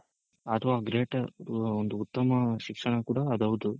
ಅಥವಾ Greater ಒಂದು ಉತ್ತಮ ಶಿಕ್ಷಣ ಕೂಡ ಅದು ಹೌದು